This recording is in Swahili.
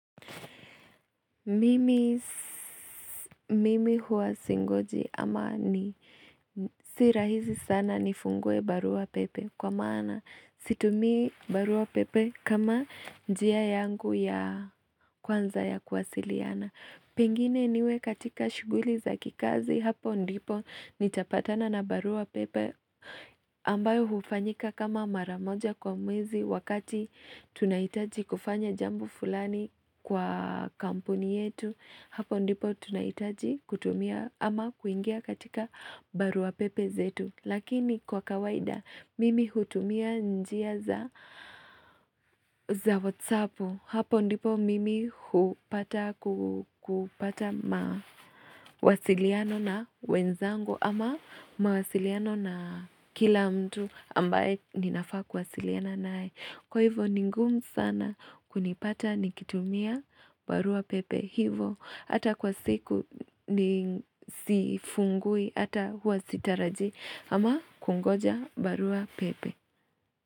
Mimi huwa singoji ama ni sirahizi sana nifungue barua pepe kwa maana situmii barua pepe kama njia yangu ya kwanza ya kuwasiliana. Pengine niwe katika shuguli za kikazi hapo ndipo nitapatana na barua pepe ambayo hufanyika kama mara moja kwa mwezi wakati tunahitaji kufanya jambo fulani kwa kampuni yetu hapo ndipo tunaitaji kutumia ama kuingia katika barua pepe zetu. Lakini kwa kawaida mimi hutumia njia za za whatsapu Hapo ndipo mimi kupata mawasiliano na wenzangu ama mawasiliano na kila mtu ambaye ninafaa kuwasiliana naye Kwa hivo ni ngumu sana kunipata nikitumia barua pepe hivo hata kwa siku ni sifungui hata huwa sitarajii ama kungoja barua pepe.